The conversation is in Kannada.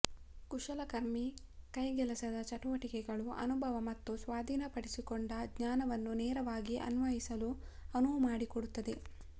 ಕುಶಲ ಕರ್ಮಿ ಕೈಕೆಲಸದ ಚಟುವಟಿಕೆಗಳು ಅನುಭವ ಮತ್ತು ಸ್ವಾಧೀನಪಡಿಸಿಕೊಂಡ ಜ್ಞಾನವನ್ನು ನೇರವಾಗಿ ಅನ್ವಯಿಸಲು ಅನುವು ಮಾಡಿಕೊಡುತ್ತದೆ